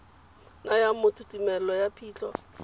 nayang motho tumelelo ya phitlho